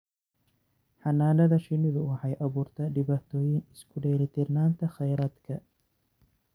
Xannaanada shinnidu waxay abuurtaa dhibaatooyin isku dheelitirnaanta kheyraadka.